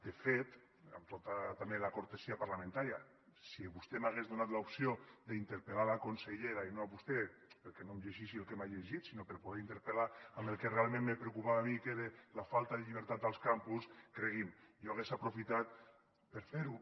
de fet amb tota també la cortesia parlamentària si vostè m’hagués donat l’opció d’interpel·lar la consellera i no a vostè perquè no em llegís el que m’ha llegit sinó per poder interpel·lar sobre el que realment me preocupava a mi que era la falta de llibertat als campus cregui’m jo hagués aprofitat per fer ho